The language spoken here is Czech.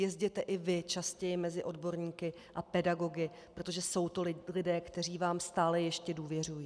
Jezděte i vy častěji mezi odborníky a pedagogy, protože jsou to lidé, kteří vám stále ještě důvěřují.